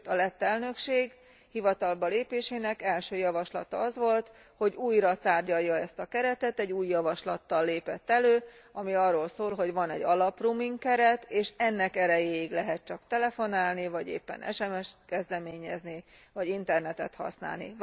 Sőt, a lett elnökség hivatalba lépésének első javaslata az volt, hogy újratárgyalja ezt a keretet, egy új javaslattal lépett elő, ami arról szól, hogy van egy alaproaming keret, és ennek erejéig lehet csak telefonálni vagy éppen SMS t kezdeményezni vagy internetet használni.